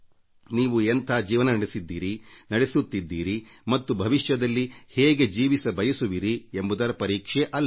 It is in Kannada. ನೀವು ಎಂಥ ಜೀವನ ನಡೆಸಿದ್ದೀರಿ ನಡೆಸುತ್ತಿದ್ದೀರಿ ಮತ್ತು ಭವಿಷ್ಯದಲ್ಲಿ ಹೇಗೆ ಜೀವಿಸಬಯಸುವಿರಿ ಎಂಬುದರ ಪರೀಕ್ಷೆ ಅಲ್ಲ